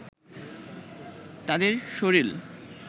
তাদের শরীল